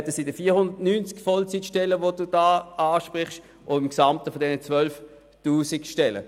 Davon sind 490 Stellen der insgesamt 12 000 Stellen betroffen, die Siedamit ansprechen.